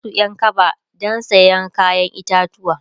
ya Kai Su Ƴan kaba du saya kayan itatauwa